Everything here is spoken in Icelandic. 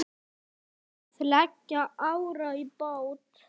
Að leggja árar í bát?